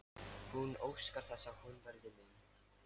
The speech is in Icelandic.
Hún óskar þess að hann verði minn.